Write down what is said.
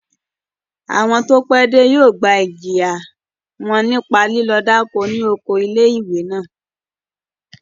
Àwọn tó pẹ́ dé yóò gba ìjìyà wọn nípa lílọ dáko ni oko ilé-ìwé náà